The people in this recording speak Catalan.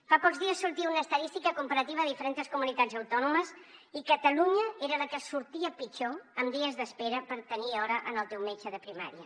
fa pocs dies sortia una estadística comparativa de diferents comunitats autònomes i catalunya era la que sortia pitjor en dies d’espera per tenir hora al teu metge de primària